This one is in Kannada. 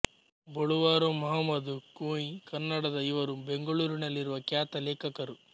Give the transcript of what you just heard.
ಬೊಳುವಾರು ಮಹಮದ್ ಕುಂಞ್ ಕನ್ನಡದ ಇವರು ಬೆಂಗಳೂರಿನಲ್ಲಿರುವ ಖ್ಯಾತ ಲೇಖಕರು